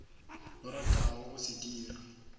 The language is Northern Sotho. o ratago go se dira